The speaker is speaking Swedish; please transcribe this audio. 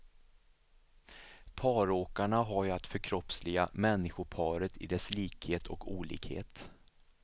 Paråkarna har ju att förkroppsliga människoparet i dess likhet och olikhet.